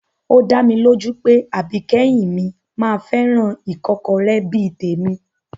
Ó dá mi lójú pé àbíkẹ́yìn mi máa fẹ́ràn ìkọ́kọrẹ́ bí i tèmi